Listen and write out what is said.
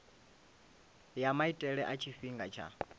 ya maitele a tshifhinga tsha